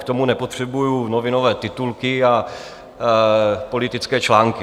K tomu nepotřebuji novinové titulky a politické články.